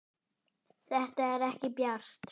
Þetta er ekki bjart.